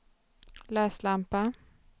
läslampa